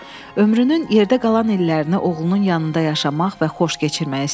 Ömrünün yerdə qalan illərini oğlunun yanında yaşamaq və xoş keçirmək istəyirdi.